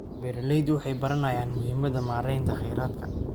Beeraleydu waxay baranayaan muhiimadda maareynta kheyraadka.